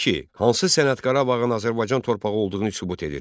2. Hansı sənəd Qarabağın Azərbaycan torpağı olduğunu sübut edir?